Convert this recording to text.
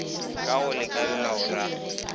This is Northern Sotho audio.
ka go lakalela o ra